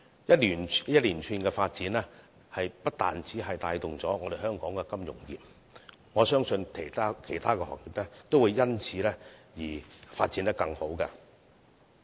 這些一連串的發展不單可帶動香港金融業，我相信其他行業也會因此而發展得更好。